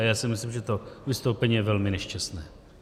A já si myslím, že to vystoupení je velmi nešťastné.